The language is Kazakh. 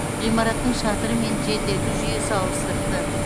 ғимараттың шатыры мен желдету жүйесі ауыстырылды